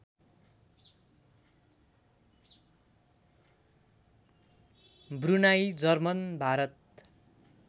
Brunei German Bharat